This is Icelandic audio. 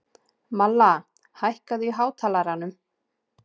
Malla, hækkaðu í hátalaranum.